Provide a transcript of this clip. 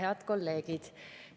Head kolleegid!